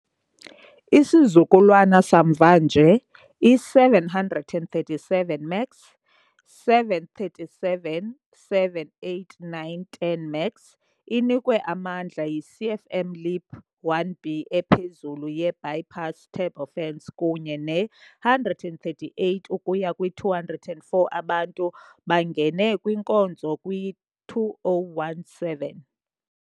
Isizukulwana samva nje, i- 737 MAX, 737-7 - 8 - 9 - 10 MAX, inikwe amandla yi- CFM LEAP -1B ephezulu ye-bypass turbofans kunye ne-138 ukuya kwi-204 abantu, bangene kwinkonzo kwi-2017.